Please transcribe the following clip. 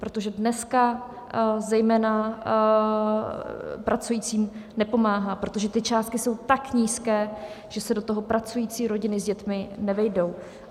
Protože dneska zejména pracujícím nepomáhá, protože ty částky jsou tak nízké, že se do toho pracující rodiny s dětmi nevejdou.